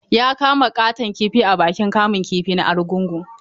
Ya kama ƙaton kifi a bikin kamun kifi na Argungu.